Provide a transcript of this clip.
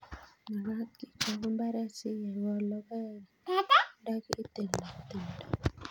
Magat kechop mbaret sikekol logoek ndaki tilda tumdo